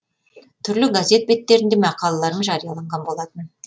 түрлі газет беттерінде мақалаларым жарияланған болатын